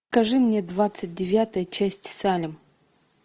покажи мне двадцать девятая часть салем